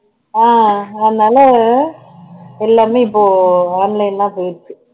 ஆஹ் அதனால எல்லாமே இப்போ online ஆ போயிருச்சு